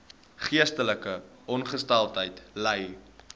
geestesongesteldheid ly